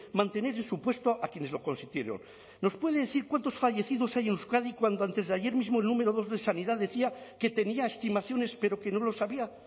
mantener en su puesto a quienes lo consintieron nos puede decir cuántos fallecidos hay en euskadi cuando antesdeayer mismo el número dos de sanidad decía que tenía estimaciones pero que no lo sabía